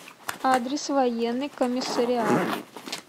адрес военный комиссариат